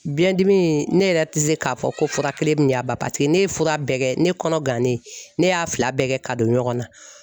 Biyɛndimi in ne yɛrɛ tɛ se k'a fɔ ko fura kelen min y'a ban paseke ne ye fura bɛɛ kɛ ne kɔnɔ gannen ne y'a fila bɛɛ kɛ ka don ɲɔgɔn na.